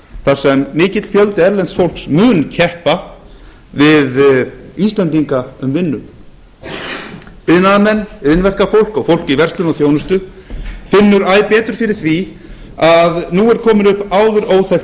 þar sem mikill fjöldi erlends fólks mun keppa við íslendinga um vinnu iðnaðarmenn iðnverkafólk og fólk í verslun og þjónustu finnur æ betur fyrir því að nú er komin upp áður óþekkt